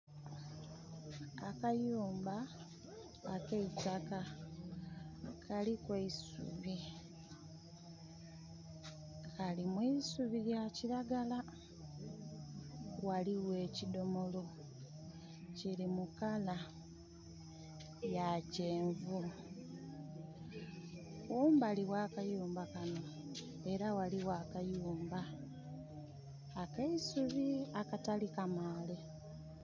Akayumba ak'eitaka kaliku eisubi. Kali mu isubi lya kiragala. Ghaligho ekidhomolo kiri mu kala ya kyenvu. Kumbali gha kayumba kano ela ghaligho akayumba ak'eisubi akatali kamaale.